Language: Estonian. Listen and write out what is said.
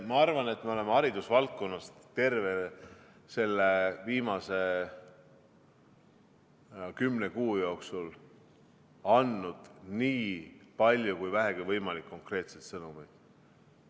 Ma arvan, et me oleme haridusvaldkonnas andnud terve selle viimase kümne kuu jooksul nii palju konkreetset sõnumit kui vähegi võimalik.